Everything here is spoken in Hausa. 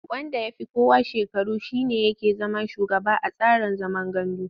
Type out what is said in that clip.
Wanda ya fi kowa shekaru shi ne yake zama shugaba a tsarin zaman gandu.